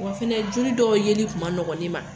Wa fɛnɛ joli dɔw yeli tun ma nɔgɔ ne ma.